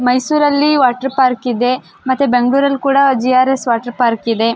ಮೈಸೂರ್ ಅಲ್ಲಿ water park ಇದೆ ಮತ್ತೆ ಬೆಂಗಳೂರು ಅಲ್ಲಿ ಕೂಡ ಜಿ.ಆರ್.ಎಸ್ ವಾಟರ್ ಪಾರ್ಕ್ ಇದೆ .